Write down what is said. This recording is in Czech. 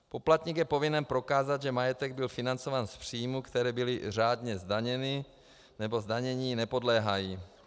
Poplatník je povinen prokázat, že majetek byl financován z příjmů, které byly řádně zdaněny nebo zdanění nepodléhají.